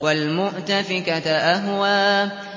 وَالْمُؤْتَفِكَةَ أَهْوَىٰ